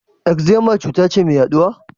Eczema cuta ce mai yaduwa?